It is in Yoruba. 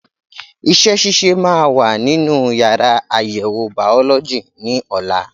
Iṣẹ́ ṣíṣe máa wà nínú yàrá àyẹ̀wò bàọ́lọ́jì ní ọ̀la.